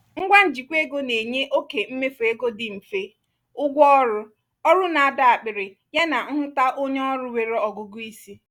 ngwa njikwa ego na-enye oke mmefu ego dị mfe ụgwọ ọrụ ọrụ na-adọ akpiri yana nhụta onye ọrụ nwere ọgụgụ isi